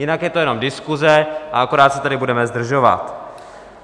Jinak je to jenom diskuse a akorát se tady budeme zdržovat.